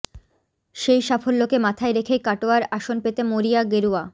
সেই সাফল্যকে মাথায় রেখেই কাটোয়ার আসন পেতে মরিয়া গেরুয়া